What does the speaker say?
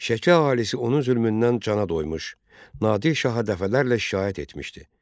Şəki əhalisi onun zülmündən cana doymuş, Nadir şaha dəfələrlə şikayət etmişdi.